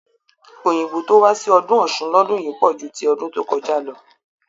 Òyìnbó tó wá sí ọdún Ọ̀ṣun lọdún yìí pọ̀ ju ti ọdún tó kọjá lọ